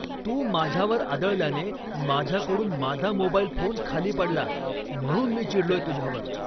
तू माझ्यावर आदळल्याने माझ्याकडून माझा मोबाईल फोन खाली पडला, म्हणून मी चिडलोय तुझ्यावर!